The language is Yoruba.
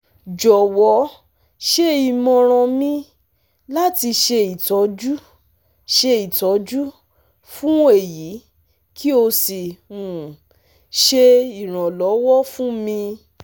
jọwọ ṣe imọran mi lati ṣe itọju ṣe itọju fun eyi ki o si um ṣe iranlọwọ fun mi